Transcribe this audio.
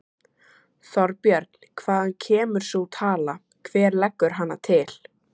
Þorbjörn: Hvaðan kemur sú tala, hver leggur hana til?